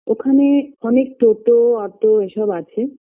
ওখানে অনেক toto auto এসব আছে